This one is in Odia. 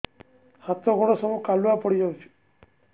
ହାତ ଗୋଡ ସବୁ କାଲୁଆ ପଡି ଯାଉଛି